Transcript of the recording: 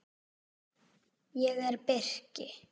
Ég er birki.